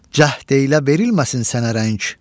cəhd eylə verilməsin sənə rəng.